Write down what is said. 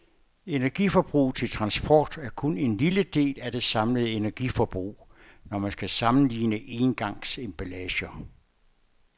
Energiforbruget til transport er kun en lille del af det samlede energiforbrug, når man skal sammenligne engangsemballager.